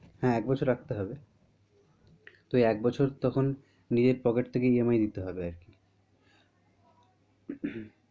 হ্যাঁ, এক বছর রাখতে হবে তো একবছর তখন নিজের pocket থেকে EMI দিতে হবে আর কি